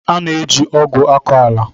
A na eji ogwu akọ ala.